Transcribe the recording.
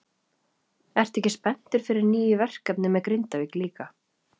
Ertu ekki spenntur fyrir nýju verkefni með Grindavík líka?